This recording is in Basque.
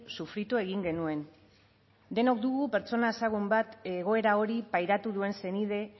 sufritu egin genuen denok dugu pertsona ezagun bat egoera hori pairatu duen senide